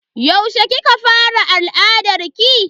Yaushe kika fara al'adarki?